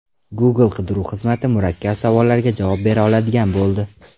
Google qidiruv xizmati murakkab savollarga javob bera oladigan bo‘ldi.